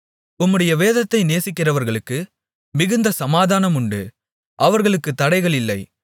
உம்முடைய வேதத்தை நேசிக்கிறவர்களுக்கு மிகுந்த சமாதானமுண்டு அவர்களுக்கு தடைகள் இல்லை